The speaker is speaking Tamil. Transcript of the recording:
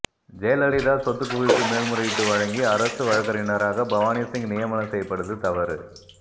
ஜெயலலிதா சொத்துக்குவிப்பு மேல்முறையீட்டு வழக்கி அரசு வழக்கறிஞராக பவானிசிங் நியமனம் செய்யப்பட்டது தவறு